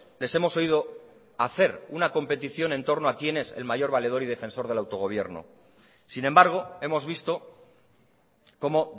les hemos oído hacer una competición en torno a quién es el mayor valedor y defensor del autogobierno sin embargo hemos visto como